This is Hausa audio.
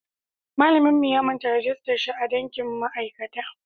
Mallan mu ya manta rijistar shi a dankin ma'aikata